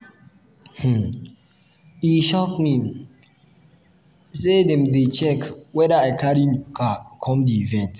um e shock me um sey dem dey check weda i carry um new car come di event.